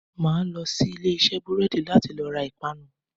Màá lo sí Ilé isé búrédì láti lo ra ìpanu